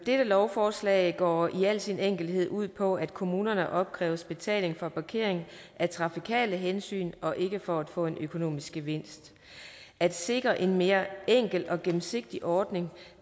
dette lovforslag går i al sin enkelhed ud på at kommunerne opkræves betaling for parkering af trafikale hensyn og ikke for at få en økonomisk gevinst at sikre en mere enkel og gennemsigtig ordning